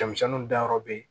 Denmisɛnninw dayɔrɔ be yen